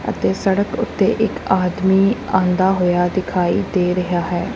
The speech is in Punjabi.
ਅਤੇ ਸੜਕ ਓੱਤੇ ਇੱਕ ਆਦਮੀ ਆਂਦਾ ਹੋਇਆ ਦਿਖਾਈ ਦੇ ਰਿਹਾ ਹੈ।